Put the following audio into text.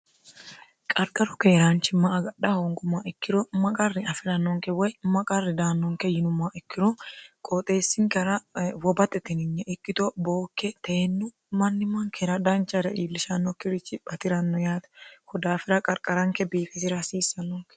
qarqaro keeraanchimma agadha hoongummoha ikkiro maqarri afi'rannoonke woy maqarri daannonke yinummaa ikkiro qooxeessinkara wobate tininye ikkito bookke teennu mannimankera danchare iillishannokkirichi batiranno yaate kodaafira qarqaranke biifisira hasiissannonke